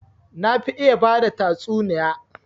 Na fi iya bada tatsuniya